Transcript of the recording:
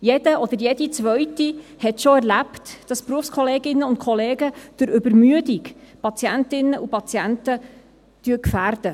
Jeder oder jede Zweite hat schon erlebt, dass Berufskolleginnen und -kollegen durch Übermüdung Patientinnen und Patienten gefährden.